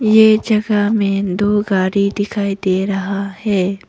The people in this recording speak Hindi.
ये जगह में दो गाड़ी दिखाई दे रहा है।